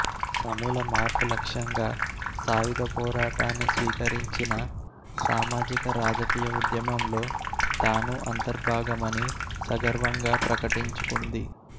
సమూల మార్పు లక్ష్యంగా సాయుధపోరాటాన్ని స్వీకరించిన సామాజిక రాజకీయ ఉద్యమంలో తాను అంతర్భాగమని సగర్వంగా ప్రకటించుకుంది